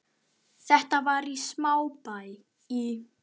Þetta var í smábæ í